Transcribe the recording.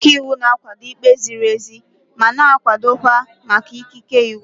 Ndị ọka iwu na-akwado ikpe ziri ezi ma na-akwado maka ikike iwu.